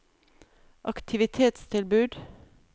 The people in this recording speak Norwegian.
aktivitetstilbud